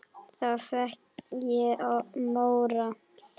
Þá fékk ég móral.